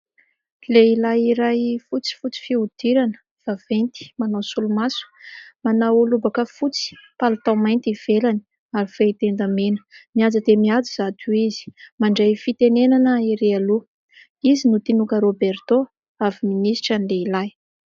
Lehilahy iray fotsifotsy fihodirana, vaventy, manao solomaso, manao lobaka fotsy, palitao mainty ivelany ary fehi-tenda mena mihaja dia mihaja izato izy, mandray fitenenana erỳ aloha, izy no Tinòka Roberto, avy ministra ny lehilahy.